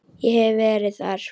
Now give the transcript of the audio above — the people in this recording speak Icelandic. Ég hef verið þar.